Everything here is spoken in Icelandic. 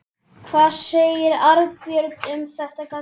Hvað segir Arnbjörg um þessa gagnrýni?